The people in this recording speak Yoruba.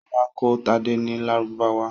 Ṣọlá kọ́ Tádé ní Lárúbáwá.